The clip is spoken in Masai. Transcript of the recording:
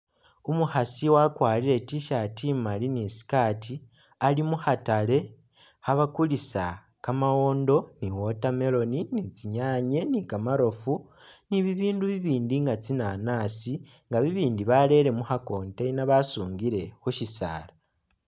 Umukhasi wakwarire i T'shirt imali ni i skirt ali mukhatale kha bakulisa kamawondo ni watermelon, ni tsinyanye ni kamarofu ni bi bindu bibindi nga tsi nanasi nga bibindi barele mukha container basungile khu shisaala.